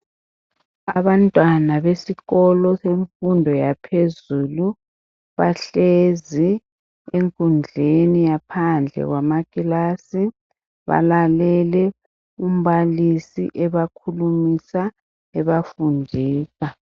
Abantwana besikolo semfundo yaphezulu bahlezi enkundleni yaphandle kwamakilasi balalele umbalisi ebakhulumisa ebafundisa.